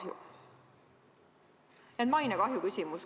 Nii et mainekahju küsimus.